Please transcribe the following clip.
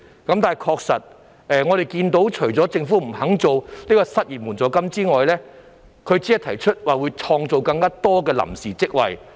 但是，我們確實看到政府除了不肯設立失業援助金外，還只提出會創造更多臨時職位。